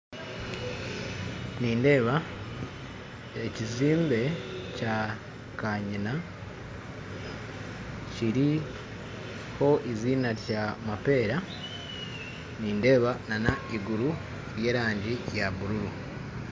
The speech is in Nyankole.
Nindeeba ekizimbe kya kanyina kiriho eiziina rya mapeera nindeeba na n'iguru ry'erangi ya bululu